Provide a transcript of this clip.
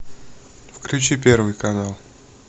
включи первый канал